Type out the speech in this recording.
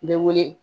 N bɛ wele